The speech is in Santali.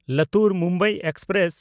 ᱞᱟᱛᱩᱨ–ᱢᱩᱢᱵᱟᱭ ᱮᱠᱥᱯᱨᱮᱥ